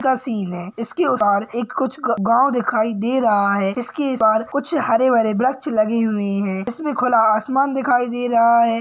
यह सीन है| उसके एक पार कुछ गाँव दिखाई दे रहा है| उसके इस पार कुछ हरे भरे वृछ लगे हुए है| इसमें खुला आसमान दिखाई दे रहा है। कुछ--